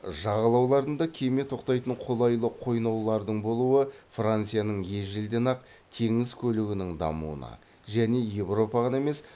жағалауларында кеме тоқтайтын қолайлы қойнаулардың болуы францияның ежелден ақ теңіз көлігінің дамуына және еуропа ғана емес